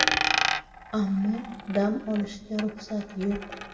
Ammo dam olishga ruxsat yo‘q.